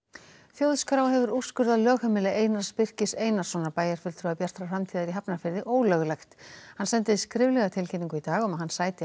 þjóðskrá hefur úrskurðað lögheimili Einar Birkis Einarsson bæjarfulltrúa Bjartar framtíðar í Hafnarfirði ólöglegt hann sendi skriflega tilkynningu í dag um að hann sæti